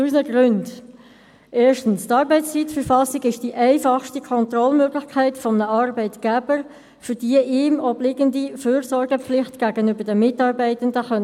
Zu unseren Gründen: Erstens ist die Arbeitszeiterfassung die einfachste Kontrollmöglichkeit eines Arbeitgebers, um die ihm obliegende Fürsorgepflicht gegenüber den Mitarbeitenden wahrzunehmen.